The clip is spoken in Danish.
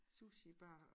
Sushibarer